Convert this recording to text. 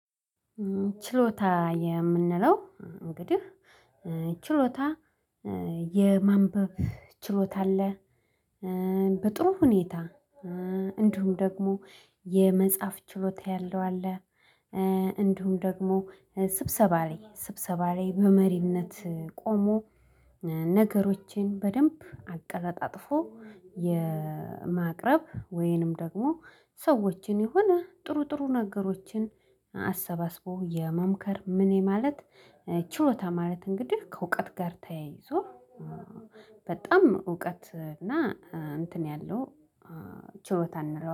ችሎታ የምንለው እንግዲህ ችሎታ የማንበብ ችሎታ አለ። በጥሩ ሁኔታ እንዲሁም ደግሞ የመጻፍ ችሎታ ያለው አለ። እንዲሁም ደግሞ ስብሰባ ላይ ስብሰባ ላይ በመሪነት ቆሞ። ነገሮቼን በደንብ አቀላጣጥፎ የማቅረብ ወይንም ደግሞ ሰዎችን የሆነ ጥሩ ጥሩ ነገሮችን። አሰባስቦ የመምከር ምን ማለት ችሎታ? ማለት እንግዲህ ከእውቀት ጋር ተያይዞ። በጣም እውቀት እና እንትን ያለው ችሎታ እንለዋለን